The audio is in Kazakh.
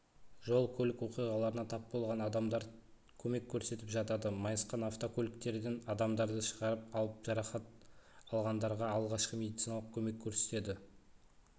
жол-көлік оқиғаларына тап болған адамдарға көмек көрсетіп жатады майысқан автокөліктерден адамдарды шығарып алып жарақат алғандарға алғашқы медициналық көмек көрсетеді